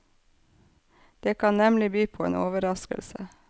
Det kan nemlig by på en overraskelse.